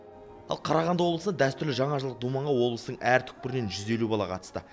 ал қарағанды облысы дәстүрлі жаңажылдық думанға облыстың әр түкпірінен жүз елу бала қатысты